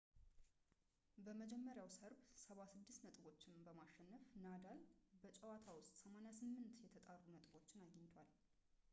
በመጀመሪያው ሰርብ 76 ነጥቦችን በማሸነፍ ናዳል በጨዋታ ውስጥ 88% የተጣሩ ነጥቦች አግኝቷል